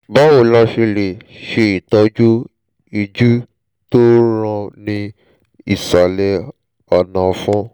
báwo ni a ṣe lè ṣe ìtọ́jú ìju tó ń ràn ní ìsàlẹ̀ ọ̀nà-ọ̀fun?